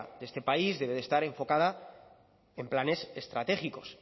de este país debe de estar enfocada en planes estratégicos